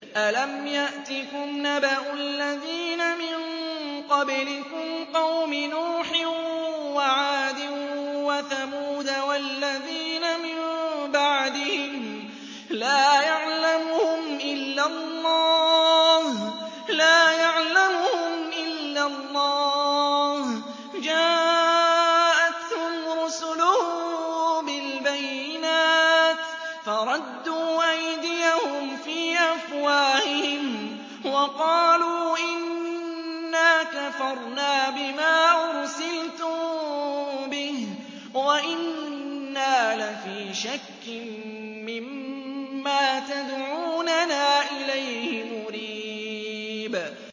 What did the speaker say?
أَلَمْ يَأْتِكُمْ نَبَأُ الَّذِينَ مِن قَبْلِكُمْ قَوْمِ نُوحٍ وَعَادٍ وَثَمُودَ ۛ وَالَّذِينَ مِن بَعْدِهِمْ ۛ لَا يَعْلَمُهُمْ إِلَّا اللَّهُ ۚ جَاءَتْهُمْ رُسُلُهُم بِالْبَيِّنَاتِ فَرَدُّوا أَيْدِيَهُمْ فِي أَفْوَاهِهِمْ وَقَالُوا إِنَّا كَفَرْنَا بِمَا أُرْسِلْتُم بِهِ وَإِنَّا لَفِي شَكٍّ مِّمَّا تَدْعُونَنَا إِلَيْهِ مُرِيبٍ